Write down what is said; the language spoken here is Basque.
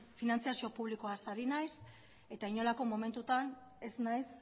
finantziazio publikoaz ari naiz eta inolako momentutan ez naiz